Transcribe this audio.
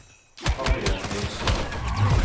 Harriet Lindstad